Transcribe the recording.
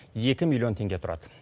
екі миллион теңге тұрады